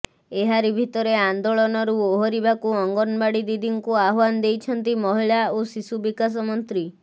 ଏହାରି ଭିତରେ ଆନ୍ଦୋଳନରୁ ଓହରିବାକୁ ଅଙ୍ଗନୱାଡି ଦିଦିଙ୍କୁ ଆହ୍ୱାନ ଦେଇଛନ୍ତି ମହିଳା ଓ ଶିଶୁ ବିକାଶ ମନ୍ତ୍ରୀ